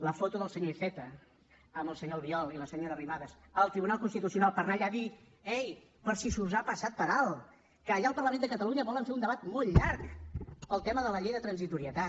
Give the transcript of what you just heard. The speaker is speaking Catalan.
la foto del senyor iceta amb el senyor albiol i la senyora arrimadas al tribunal constitucional per anar allà a dir ei per si us ha passat per alt que allà al parlament de catalunya volen fer un debat molt llarg pel tema de la llei de transitorietat